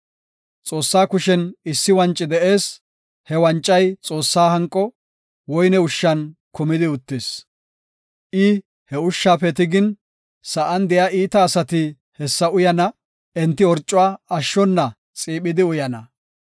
Xoossaa kushen issi wanci de7ees; he wancay Xoossaa hanqo woyne ushshan kumidi uttis. I he ushshafe tigin, sa7an de7iya iita asati hessa uyana; enti orcuwa ashshona xiiphidi uyana.